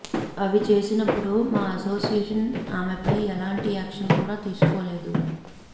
అవి చేసినపుడు మా అసోసియేషన్ ఆమెపై ఎలాంటి యాక్షన్ కూడా తీసుకోలేదు